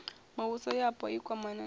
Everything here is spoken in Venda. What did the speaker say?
mivhuso yapo i kwamana na